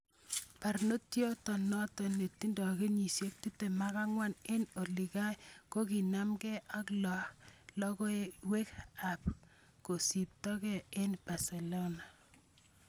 Bornotiot noto netindo kenyisiek 24 eng olikai kokinamge ak logoiwek ab kosipto ge kwo Barcelona.